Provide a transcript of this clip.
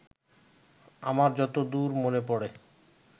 আমার যত দূর মনে পড়ে